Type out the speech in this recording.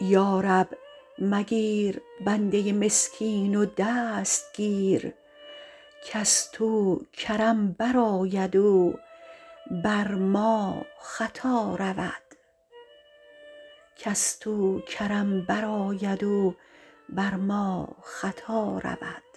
یارب مگیر بنده مسکین و دست گیر کز تو کرم برآید و بر ما خطا رود